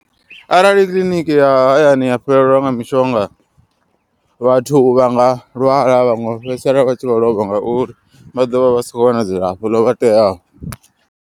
Arali kiḽiniki ya hayani ya fhelelwa nga mishonga vhathu vha nga lwala. Vhaṅwe vha fhedzisela vha tshi vho lovha ngauri vha ḓovha vha si kho wana dzilafho ḽo vha teaho.